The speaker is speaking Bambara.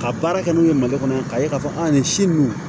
Ka baara kɛ n'o ye mali kɔnɔ yan k'a ye k'a fɔ an ni si ninnu